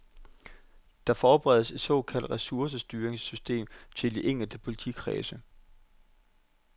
Der forberedes et såkaldt ressourcestyringssystem til de enkelte politikredse.